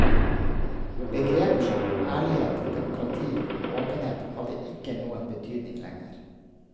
Begreper som ærlighet, demokrati og åpenhet hadde ikke noen betydning lenger.